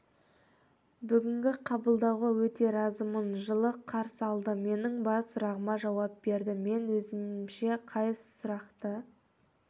бүгінгі қабылдауға өте разымын жылы қарсы алды менің бар сұрағыма жауап берді мен өзімше қай сұрақты